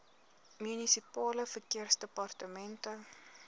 munisipale verkeersdepartemente